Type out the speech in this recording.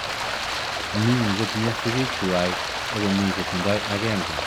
Mi che tindo sigik twai ako mii che tindoi agenge.